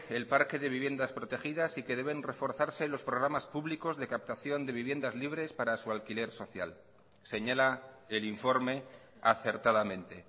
el parque de viviendas protegidas y que deben reforzarse los programas públicos de captación de viviendas libres para su alquiler social señala el informe acertadamente